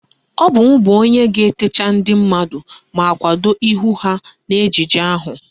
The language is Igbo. Ọ bụ m bụ onye ga-etecha ndị mmadụ ma kwado ihu ha n'ejije ahụ